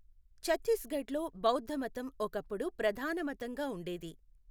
ఛత్తీస్గఢ్లో బౌద్ధమతం ఒకప్పుడు ప్రధాన మతంగా ఉండేది.